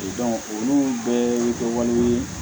olu bɛɛ bɛ kɛ wale ye